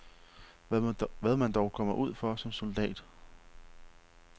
Hvad man dog kommer ud for som soldat.